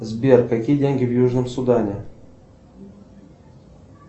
сбер какие деньги в южном судане